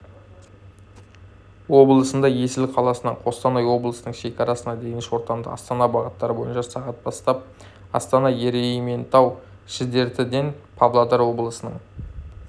облысында есіл қаласынан қостанай облысының шекарасына дейін шортанды-астана бағыты бойынша сағат бастап астана-ерейментау-шідертіден павлодар облысының